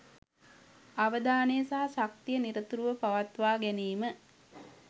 අවධානය සහ ශක්තිය නිරතුරුව පවත්වා ගැනීම